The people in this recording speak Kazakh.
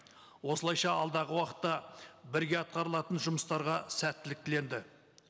осылайша алдағы уақытта бірге атқарылатын жұмыстарға сәттілік тіленді